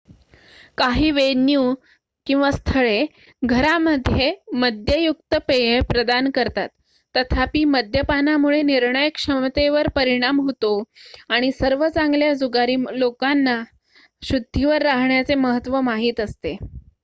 काही वेन्यू/स्थळे घरामध्ये मद्ययुक्त पेये प्रदान करतात. तथापि मद्यपानामुळे निर्णयक्षमतेवर परिणाम होतो आणि सर्व चांगल्या जुगारी लोकांना शुद्धीवर राहण्याचे महत्त्व माहित असते